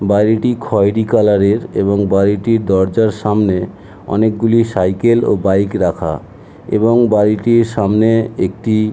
বাড়িটি খয়েরি কালার এর এবং বাড়িটির দরজার সামনে অংকগুলি সাইকেল ও বাইক রাখা এবং বাড়িটির সামনে একটি --